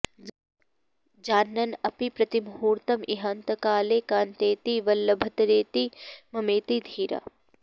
जानन्न् अपि प्रतिमुहूर्तम् इहान्तकाले कान्तेति वल्लभतरेति ममेति धीरा